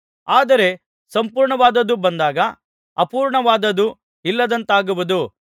ಆದರೆ ಸಂಪೂರ್ಣವಾದದ್ದು ಬಂದಾಗ ಅಪೂರ್ಣವಾದದ್ದು ಇಲ್ಲದಂತಾಗುವುದು